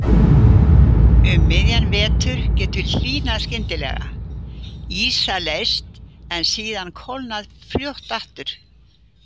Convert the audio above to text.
Um miðjan vetur getur hlýnað skyndilega, ísa leyst en síðan kólnað fljótt aftur.